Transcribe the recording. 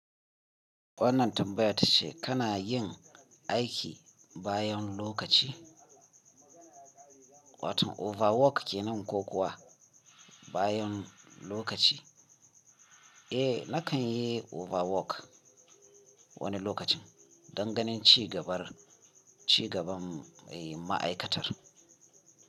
Wannan tambayar tace kana yin aiki bayan lokaci, wato overwork ke nan ko kuwa bayan lokaci? Eh, na kan yi overwork wani lokacin don ganin cigabar, cigaban, eh, ma'aikatar.